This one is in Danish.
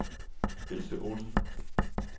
Else Olsen